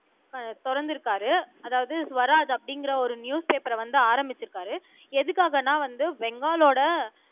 அஹ் திறந்து இருக்காரு அதாவது ஸ்வராஜ் அப்படிங்கிற ஒரு நியூஸ் பேப்பர வந்து ஆரம்பிச்சிருக்காரு எதுக்காகன்னா வந்து பெங்காலோட